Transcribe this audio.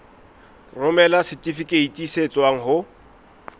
romela setifikeiti se tswang ho